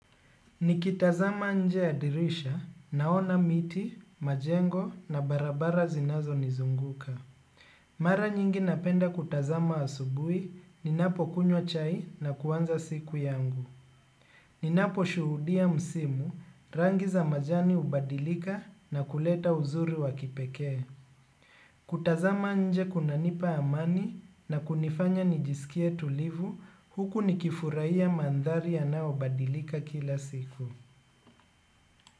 Nikitazama nje ya dirisha, naona miti, majengo na barabara zinazo nizunguka. Mara nyingi napenda kutazama asubui, ninapo kunywa chai na kuanza siku yangu. Ninapo shuhudia msimu, rangi za majani hubadilika na kuleta uzuri wa kipekee. Kutazama nje kunanipa amani na kunifanya nijisikie tulivu, huku nikifurahia mandhari yanayo badilika kila siku.